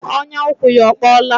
Ọnyà ụkwụ ya ọ kpọọla?